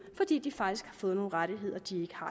fordi de faktisk får nogle rettigheder de ikke har